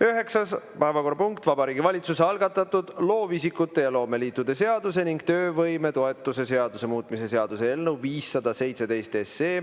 Üheksas päevakorrapunkt on Vabariigi Valitsuse algatatud loovisikute ja loomeliitude seaduse ning töövõimetoetuse seaduse muutmise seaduse eelnõu 517.